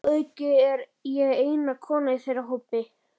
Að auki er ég eina konan í þeirra hópi.